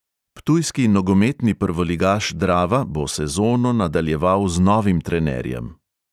Ptujski nogometni prvoligaš drava bo sezono nadaljevala z novim trenerjem.